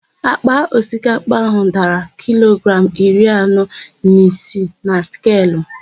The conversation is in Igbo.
Àkpà osikapa áhụ̀ dara kilogramụ iri anọ na isii na skelu.